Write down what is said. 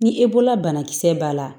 Ni e bɔra banakisɛ b'a la